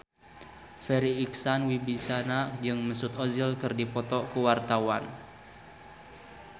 Farri Icksan Wibisana jeung Mesut Ozil keur dipoto ku wartawan